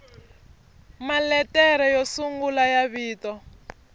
maletere yo sungula ya vito